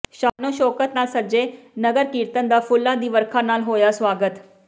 ਸ਼ਾਨੋ ਸ਼ੌਕਤ ਨਾਲ ਸਜੇ ਨਗਰ ਕੀਰਤਨ ਦਾ ਫੁੱਲਾਂ ਦੀ ਵਰਖਾ ਨਾਲ ਹੋਇਆ ਸਵਾਗਤ